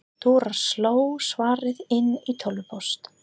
Dóra sló svarið inn í tölvupóst.